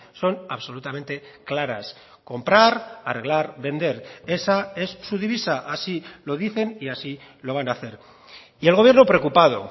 son absolutamente claras comprar arreglar vender esa es su divisa así lo dicen y así lo van a hacer y el gobierno preocupado